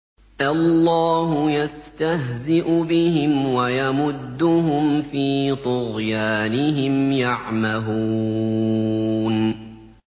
اللَّهُ يَسْتَهْزِئُ بِهِمْ وَيَمُدُّهُمْ فِي طُغْيَانِهِمْ يَعْمَهُونَ